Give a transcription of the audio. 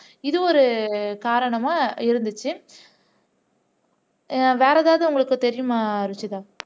இது ஒரு காரணமா இருந்துச்சு வேற ஏதாவது உங்களுக்கு தெரியுமா ருஷிதா